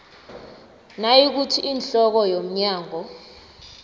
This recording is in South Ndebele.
nayikuthi ihloko yomnyango